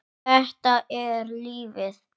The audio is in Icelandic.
Þetta er lífið.